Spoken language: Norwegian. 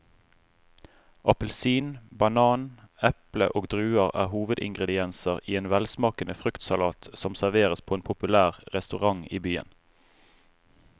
Appelsin, banan, eple og druer er hovedingredienser i en velsmakende fruktsalat som serveres på en populær restaurant i byen.